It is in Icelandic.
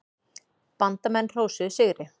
Bandamenn hrósuðu sigri.